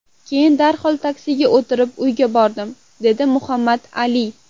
Keyin darhol taksiga o‘tirib uyiga bordim”, degan Muhammad Ali.